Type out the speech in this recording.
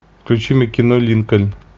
включи мне кино линкольн